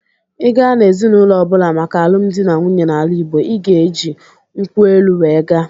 Ị gaa n'ezinaụlọ ọbụla maka alụmdi na nwunye n'ala Igbo, ị ga-eji nkwụ elụ wee gaa.